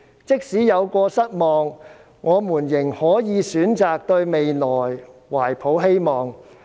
即使有過失望，我們仍可以選擇對未來懷抱希望。